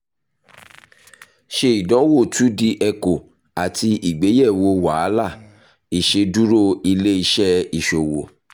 ṣe idanwo two d echo ati igbeyewo wahala iṣeduro ile iṣẹ iṣowo